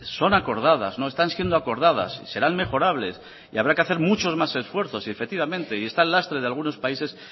son acordadas no están siendo acordadas serán mejorables y habrá que hacer muchos más esfuerzos y efectivamente está el lastre de algunos países